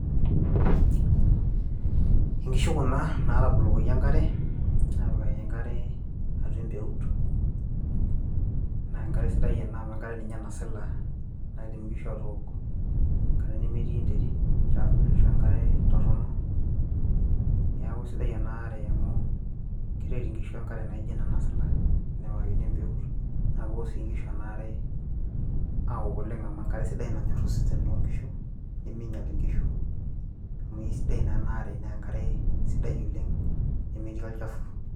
inkishu kuna natabolokoki enkare apikaki enkare atua empeut naa enkare sidai ena amu enkare ninye nasila naidim inkishu atook enkare nemetii enterit ashua enkare torrono niaku isidai enaare amu keret inkishu enkare naijo ena nasila enepikakini embeut naa kewok sii inkishu ena are awok oleng amu enkare sidai nanyorr osesen lonkishu niminyial inkishu amu isidai naa ena are naa enkare sidai oleng nemetii olchafu.